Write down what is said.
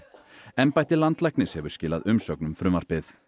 embætti landlæknis hefur skilað umsögn um frumvarpið